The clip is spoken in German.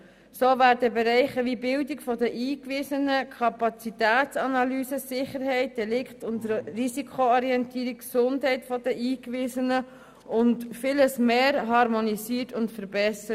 So werden Bereiche wie die Bildung der Eingewiesenen, Kapazitätsanalysen, Sicherheit, Delikte und Risikoorientierung, die Gesundheit der Eingewiesenen und vieles mehr harmonisiert und verbessert.